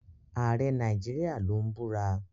Ààrẹ Nigeria ló ń búra.